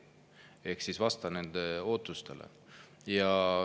Ehk vasta nende ootustele.